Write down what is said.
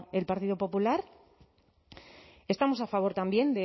el partido popular estamos a favor también